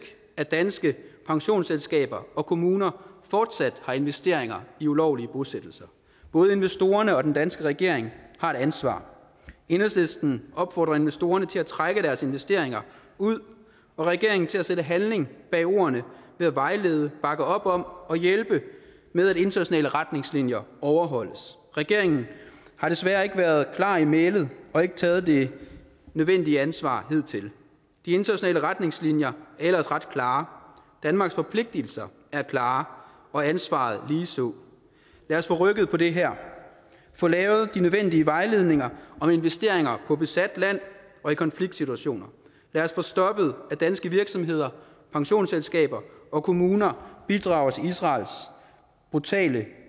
at danske pensionsselskaber og kommuner fortsat har investeringer i ulovlige bosættelser både investorerne og den danske regering har et ansvar enhedslisten opfordrer investorerne til at trække deres investeringer ud og regeringen til at sætte handling bag ordene ved at vejlede bakke op om og hjælpe med at internationale retningslinjer overholdes regeringen har desværre ikke været klar i mælet og ikke taget det nødvendige ansvar hidtil de internationale retningslinjer er ellers ret klare danmarks forpligtelser er klare og ansvaret ligeså lad os få rykket på det her få lavet de nødvendige vejledninger om investeringer på besat land og i konfliktsituationer lad os få stoppet at danske virksomheder pensionsselskaber og kommuner bidrager til israels brutale